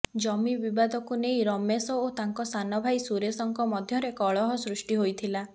ଜମି ବିବାଦକୁ ନେଇ ରମେଶ ଓ ତାଙ୍କ ସାନ ଭାଇ ସୁରେଶଙ୍କ ମଧ୍ୟରେ କଳହ ସୃଷ୍ଟି ହୋଇଥିଲା